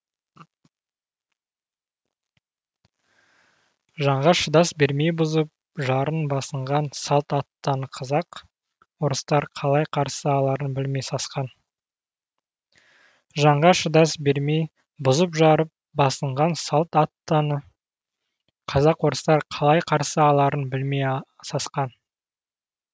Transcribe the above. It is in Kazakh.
жанға шыдас бермей бұзып жарып басынған салт аттыны қазақ орыстар қалай қарсы аларын білмей сасқан